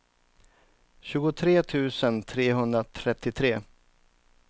tjugotre tusen trehundratrettiotre